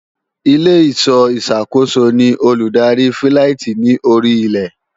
Ilé-ìṣọ́ ìsàkóso ni olùdarí fíláìtí ní orí ilẹ̀